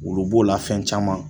Olu b'o la fɛn caman